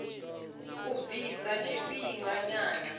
a u bvisa lwa tshifhinganyana